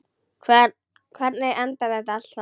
Hvernig endar þetta allt saman?